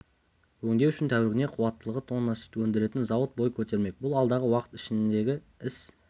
өңдеу үшін тәулігіне қуаттылығы тонна сүт өндіретін зауыт бой көтермек бұл алдағы уақыт еншісіндегі іс